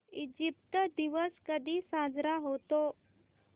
Egypt दिवस कधी साजरा होतो